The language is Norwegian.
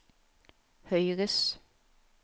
høyres